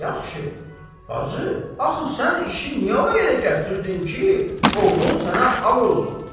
Yaxşı, bacı, axı sən işi niyə o yerə gətirdin ki, oğlun sənə ağ olsun.